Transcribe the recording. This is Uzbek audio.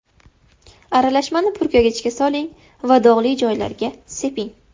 Aralashmani purkagichga soling va dog‘li joylarga seping.